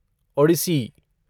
Odissi